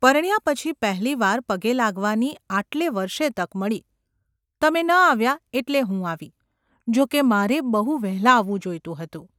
પરણ્યા પછી પહેલી વાર પગે લાગવાની આટલે વર્ષે તક મળી ! તમે ન આવ્યા એટલે હું આવી – જોકે મારે બહુ વહેલાં આવવું જોઈતું હતું.